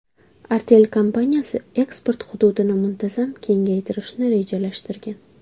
Artel kompaniyasi eksport hududini muntazam kengaytirishni rejalashtirgan.